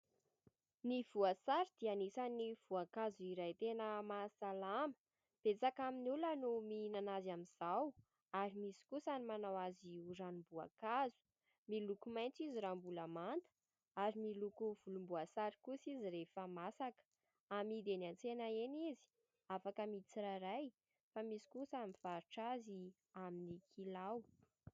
Ny voasary dia anisan'ny voankazo iray tena mahasalama, betsaka amin'ny olona no mihinana azy amin'nizao ary misy kosa ny manao azy ho ranomboankazo, miloko maintso izy raha mbola manta, ary miloko volomboasary kosa izy rehefa masaka. Amidy eny antsena eny izy, afaka amidy tsirairay, fa misy kosa mivarotra azy amin'ny kilao.